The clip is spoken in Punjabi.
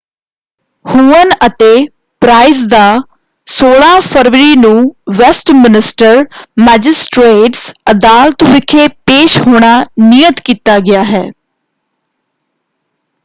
ਹੁਅਨ ਅਤੇ ਪ੍ਰਾਈਸ ਦਾ 16 ਫਰਵਰੀ ਨੂੰ ਵੈਸਟਮੀਨਿਸਟਰ ਮੈਜਿਸਟ੍ਰੇਟਸ ਅਦਾਲਤ ਵਿਖੇ ਪੇਸ਼ ਹੋਣਾ ਨਿਯਤ ਕੀਤਾ ਗਿਆ ਹੈ।